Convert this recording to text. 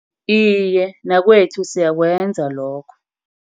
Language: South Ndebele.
Iye, nakwethu siyakwenza lokho.